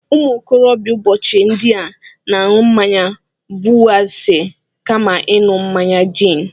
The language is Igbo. Ụmụ okorobịa ụbọchị ndị a na-aṅụ mmaya Budịwaịsa kama ịṅụ mmaya gin